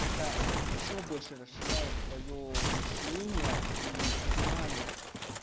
это ещё больше расширяет твоё мышление и сознание